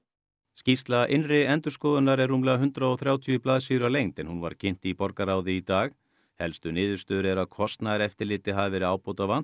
skýrsla innri endurskoðunar er rúmlega hundrað og þrjátíu blaðsíður að lengd en hún var kynnt í borgarráði í dag helstu niðurstöður eru að kostnaðareftirliti hafi verið ábótavant